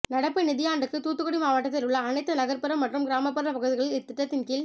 நடப்பு நிதியாண்டுக்கு தூத்துக்குடி மாவட்டத்தில் உள்ள அனைத்து நகா்ப்புறம் மற்றும் கிராமப்புற பகுதிகளில் இத்திட்டத்தின் கீழ்